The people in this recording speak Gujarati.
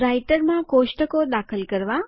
રાઈટરમાં કોષ્ટકો દાખલ કરવા